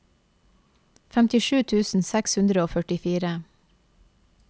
femtisju tusen seks hundre og førtifire